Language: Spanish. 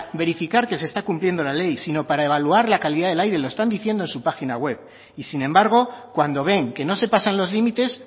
verificar que se está cumpliendo la ley sino para evaluar la calidad del aire lo están diciendo en su página web y sin embargo cuando ven que no se pasan los límites